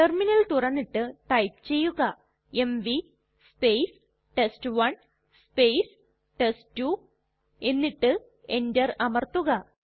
terminal തുറന്നിട്ട് type ചെയ്യുക MV test one test two എന്നിട്ട് enter അമർത്തുക